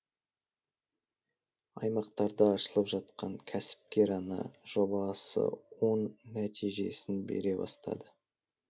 аймақтарда ашылып жатқан кәсіпкер ана жобасы оң нәтижесін бере бастады